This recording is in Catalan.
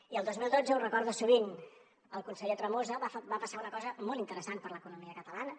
i el dos mil dotze ho recorda sovint el conseller tremosa va passar una cosa molt interessant per a l’economia catalana